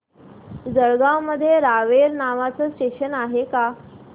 जळगाव मध्ये रावेर नावाचं स्टेशन आहे का